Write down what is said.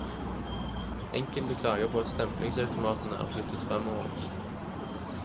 Enkelte klager på at stemplingsautomatene er flyttet fremover.